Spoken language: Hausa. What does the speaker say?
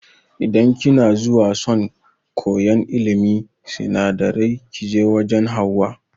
Idan kina zuwa son koyan ilimin sinadarai kije wajan Hauwa